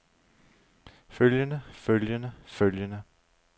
følgende følgende følgende